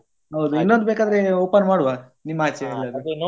ಹೌದು ಇನ್ನೊಂದು ಬೇಕಾದ್ರೆ open ಮಾಡುವಾ ನಿಮ್ಮ ಆಚೆ ಎಲ್ಲಿಯಾದ್ರೂ.